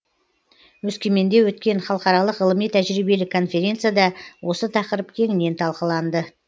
өскеменде өткен халықаралық ғылыми тәжірибелік конференцияда осы тақырып кеңінен талқыланды